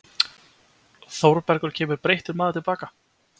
Þórbergur kemur breyttur maður til baka.